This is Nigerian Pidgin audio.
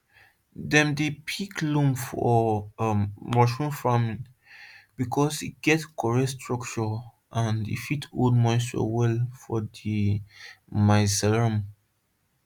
dem dey pick loam for um mushroom farming because e get correct structure and e fit hold moisture well for mycelium